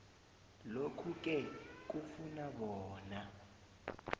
lokhuke kufuna bona